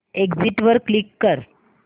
exit वर click कर